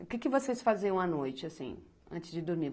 O que vocês faziam à noite, assim, antes de dormir?